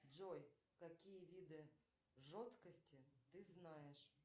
джой какие виды жесткости ты знаешь